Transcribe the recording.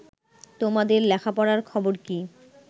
তোমাদের লেখাপড়ার খবর কি